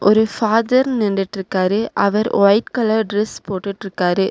ஒரு ஃபாதர் நிண்டுட்ருக்காரு அவர் ஒயிட் கலர் டிரஸ் போட்டுட்ருக்காரு.